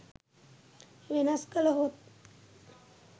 වෙනස් කළ හොත්